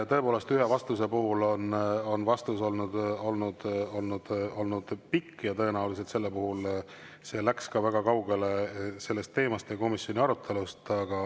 Tõepoolest, ühe vastus on olnud pikk ja tõenäoliselt sellel puhul see läks ka väga kaugele sellest teemast ja komisjoni arutelust.